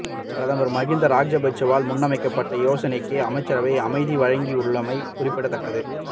பிரதமர் மகிந்த ராஜபக்ஷவால் முன்வைக்கப்பட்ட யோசனைக்கே அமைச்சரவை அனுமதி வழங்கியுள்ளமை குறிப்பிடத்தக்கது